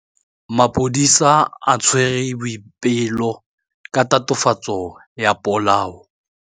Maphodisa a tshwere Boipelo ka tatofatsô ya polaô.